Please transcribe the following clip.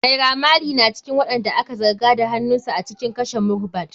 Naira maley na cikin waɗanda aka zarga da hanunsu a cikin kashe Mohbad.